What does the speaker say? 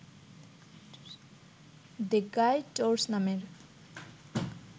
the guide tours নামের